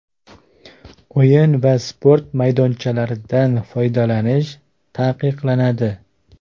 O‘yin va sport maydonchalaridan foydalanish taqiqlanadi.